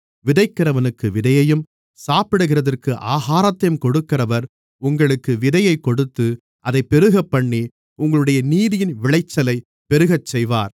விதைக்கிறவனுக்கு விதையையும் சாப்பிடுகிறதற்கு ஆகாரத்தையும் கொடுக்கிறவர் உங்களுக்கு விதையைக் கொடுத்து அதைப் பெருகப்பண்ணி உங்களுடைய நீதியின் விளைச்சலைப் பெருகச்செய்வார்